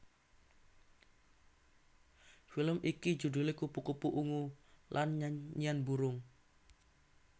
Film iki judhulé Kupu kupu Ungu lan Nyanyian Burung